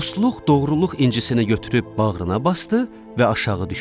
Dostluq, doğruluq incisini götürüb bağrına basdı və aşağı düşdü.